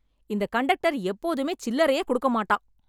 இந்த கண்டக்டர் எப்போதுமே சில்லறையே கொடுக்க மாட்டான்